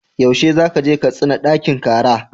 Yaushe za ka je Katsina ɗakin kara?